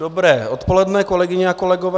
Dobré odpoledne kolegyně a kolegové.